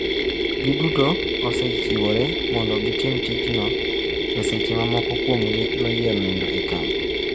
Giduto osechiwore mondo gitim tichno e seche ma moko kuomgi noyiero nindo e kambi.